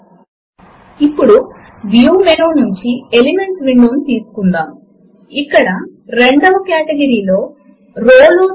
మరియు ఇప్పుడు మనము మొదటి ప్లేస్ హోల్డర్ ను డిలీట్ చేద్దాము మరియు రెండవ ప్లేస్ హోల్డర్ లో 12 అని టైప్ చేద్దాము